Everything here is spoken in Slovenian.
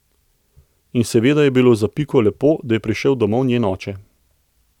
In seveda je bilo za Piko lepo, da je prišel domov njen oče.